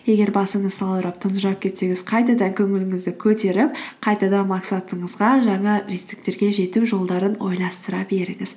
егер басыңыз салбырап тұнжырап кетсеңіз қайтадан көңіліңізді көтеріп қайтадан мақсатыңызға жаңа жетістіктерге жету жолдарын ойластыра беріңіз